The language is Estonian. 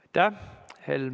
Aitäh!